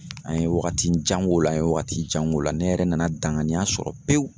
An ye wagatijan k'o la, an ye wagati jan k'o la . Ne yɛrɛ nana danganiya sɔrɔ pewu